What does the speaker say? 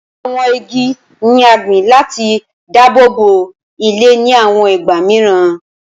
Awọn igi ni a gbin lati dabobo ilẹ ni awọn igba miiran